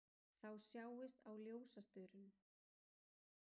Þá sjáist á ljósastaurum